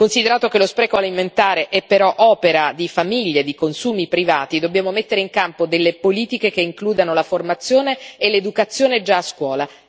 Considerato che lo spreco alimentare è però opera di famiglie, di consumi privati, dobbiamo mettere in campo delle politiche che includano la formazione e l'educazione già a scuola.